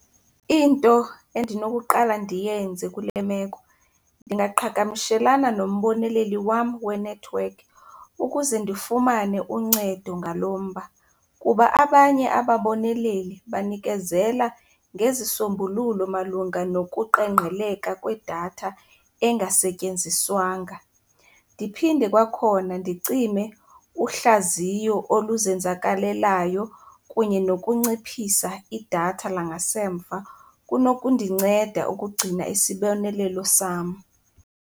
Into endinokuqala ndiyenze kule meko, ndingaqhagamshelana nomboneleli wam wenethiwekhi ukuze ndifumane uncedo ngalo mba. Kuba abanye ababoneleli banikezela ngezisombululo malunga nokuqengqeleka kwedatha engasetyenziswanga. Ndiphinde kwakhona ndicime uhlaziyo oluzenzakalelayo kunye nokunciphisa idatha langasemva kunokundinceda ukugcina isibonelelo sam.